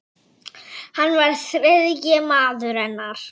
Hann var þriðji maður hennar.